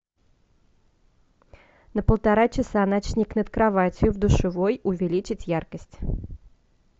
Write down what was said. на полтора часа ночник над кроватью в душевой увеличить яркость